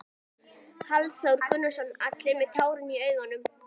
Hafþór Gunnarsson: Allir með tárin í augunum?